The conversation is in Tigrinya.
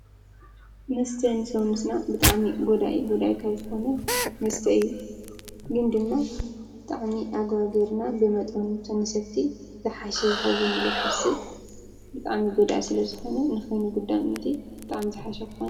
መስተ ንሰውነትና ብጣሚ ጐዳኢ እዩ። ጐዳይ ካብ ዝኾነ መስተይ እዩ ፣ ግን ድማ ብጥዕኒ ጎዳኢ ብምካኑ መስቲ ዝሓሸ ይኸውን ኢለ ይሓስብ ብጣሚ ጐዳኢ ስለ ዝኾነ ንኸይኑጕዳምንቲ ብጣኣም ዝሓሸኮነ።